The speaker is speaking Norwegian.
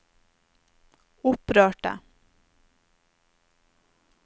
opprørte